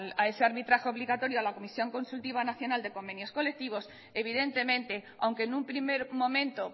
a ese arbitraje obligatorio a la comisión consultiva nacional de convenios colectivos evidentemente aunque en un primer momento